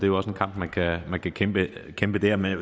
jo også en kamp man kan kæmpe kæmpe der men